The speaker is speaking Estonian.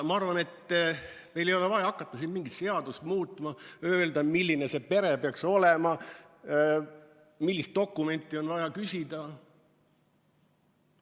Ma arvan, et meil ei ole vaja hakata siin mingit seadust muutma, öelda, milline see pere peaks olema, millist dokumenti on vaja küsida.